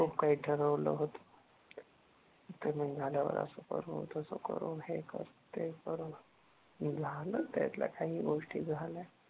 खूप काही ठरवलं होतं. पेमेन्ट झाल्यावर असं करू, तसं करू, हे करु ते करू. झालं त्यातल्या काही गोष्टी झाल्या